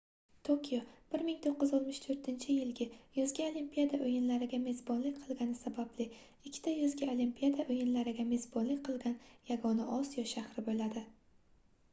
tokio 1964-yilda yozgi olimpiada oʻyinlariga mezbonlik qilgani sababli ikkita yozgi olimpiada oʻyinlariga mezbonlik qilgan yagona osiyo shahri boʻladi